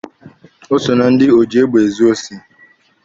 O so na ndị oji egbe ezu osi.